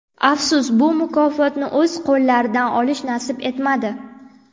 Afsus, bu mukofotni o‘z qo‘llaridan olish nasib etmadi.